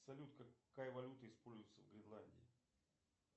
салют какая валюта используется в гренландии